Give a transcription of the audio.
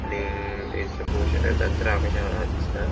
आणि हैसर पॉवक शकता जात्रा हा कशे हा दिसता.